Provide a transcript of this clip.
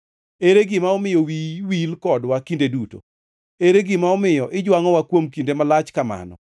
Ere gima omiyo wiyi wil kodwa kinde duto? Ere gima omiyo ijwangʼowa kuom kinde malach kamano?